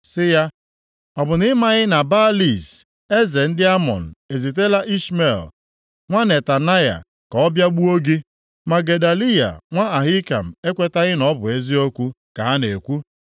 sị ya, “Ọ bụ na i maghị na Baalis eze ndị Amọn ezitela Ishmel nwa Netanaya ka ọ bịa gbuo gị?” Ma Gedaliya nwa Ahikam ekwetaghị na ọ bụ eziokwu ka ha na-ekwu.